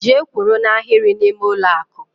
Gee kwụrụ n' Ahiri na ime ụlọ akụ!!!